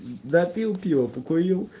допил пиво покурил